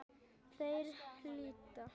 Þeir hlýddu.